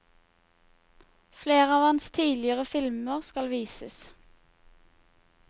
Flere av hans tidligere filmer skal vises.